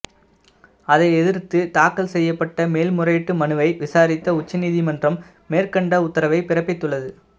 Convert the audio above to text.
அதை எதிர்த்து தாக்கல் செய்யப்பட்ட மேல்முறையீட்டு மனுவை விசாரித்த உச்ச நீதிமன்றம் மேற்கண்ட உத்தரவை பிறப்பித்துள்ளது